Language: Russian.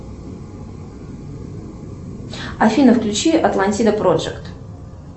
афина включи атлантида проджект